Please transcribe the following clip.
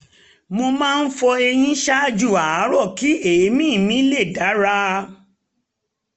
mo máa ń fọ eyín ṣáájú àárọ̀ kí èémí mi lè dára